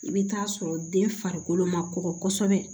I bɛ taa sɔrɔ den farikolo ma kɔgɔ kosɛbɛ